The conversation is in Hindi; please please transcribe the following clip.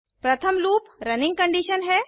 प्रथम लूप रनिंग कंडीशन है